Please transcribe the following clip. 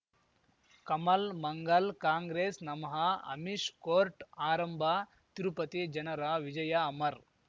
ಕಮಲ್ ಮಂಗಲ್ ಕಾಂಗ್ರೆಸ್ ನಮಃ ಅಮಿಷ್ ಕೋರ್ಟ್ ಆರಂಭ ತಿರುಪತಿ ಜನರ ವಿಜಯ ಅಮರ್